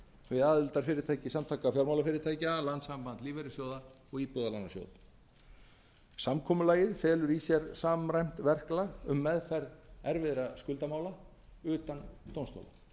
við aðildarfyrirtæki samtaka fjármálafyrirtækja landssamband lífeyrissjóða og íbúðalánasjóð samkomulagið felur í sér samræmt verklag um meðferð erfiðra skuldamála utan dómstóla